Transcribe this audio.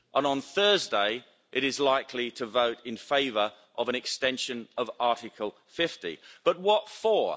On Thursday, it is likely to vote in favour of an extension of Article 50, but what for?